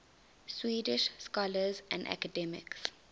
swedish scholars and academics